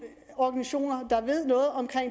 organisationer der ved noget om